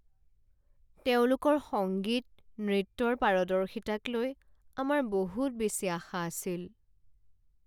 তেওঁলোকৰ সংগীত, নৃত্যৰ পাৰদৰ্শিতাক লৈ আমাৰ বহুত বেছি আশা আছিল।